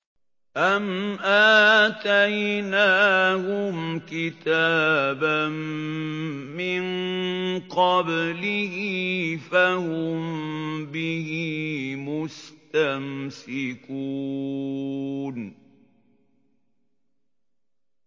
أَمْ آتَيْنَاهُمْ كِتَابًا مِّن قَبْلِهِ فَهُم بِهِ مُسْتَمْسِكُونَ